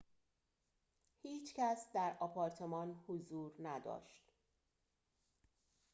هیچ کس در آپارتمان حضور نداشت